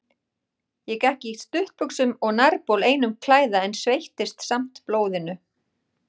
Ég gekk í stuttbuxum og nærbol einum klæða, en sveittist samt blóðinu.